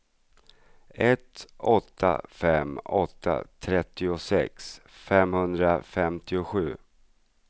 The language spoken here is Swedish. ett åtta fem åtta trettiosex femhundrafemtiosju